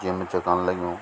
जिम च कण लग्युं।